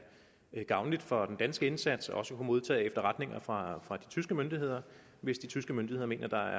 gavnligt for den danske indsats også at modtage efterretninger fra de tyske myndigheder hvis de tyske myndigheder mener at der